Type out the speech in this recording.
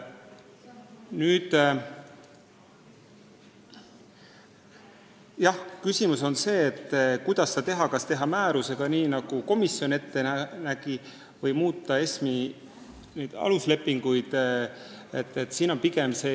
Nüüd jah, küsimus on, kuidas seda teha: kas anda välja määrus, nagu komisjon pakub, või muuta ESM-i aluslepinguid?